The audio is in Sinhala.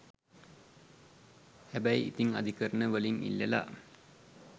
හැබය් ඉතින් අධිකරණ වලින් ඉල්ලා